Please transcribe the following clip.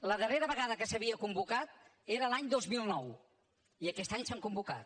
la darrera vegada que s’havien convocat era l’any dos mil nou i aquest any s’han convocat